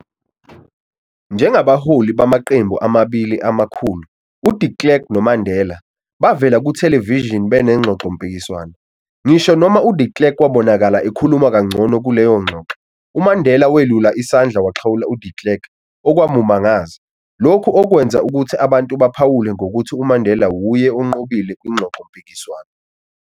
Njengabaholi bamaqembu amabili amakhulu, uDe Klerk noMandela, bavele kuthelevishini benengxoxo-mpikiswano, ngisho noma uDe Klerk wabonakala ekhuluma kangcono kuleyo ngxoxo, uMandela welula isandla waxhawula uDe Klerk, okwamumangaza, lokhu okwenza ukuthi abantu baphawule ngokuthi uMandela wuye ongqobile kwingxoxo-mpikiswano.